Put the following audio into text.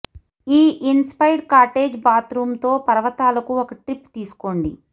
ఈ inspired cottage bathroom తో పర్వతాలకు ఒక ట్రిప్ తీసుకోండి